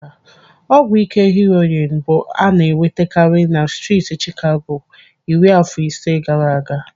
Ọgwụ ike heroin bụ ana-enwetakarị na striiti Chicago iri afọ ise gaara aga.